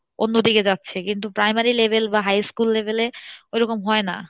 অন্য দিকে যাচ্ছে কিন্তু primary level বা high school level এ ওরকম হয় না।